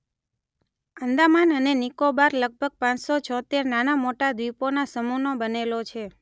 આંદામાન અને નિકોબાર લગભગ પાંચસો છોતેર નાના મોટા દ્વીપોના સમૂહનો બનેલો છે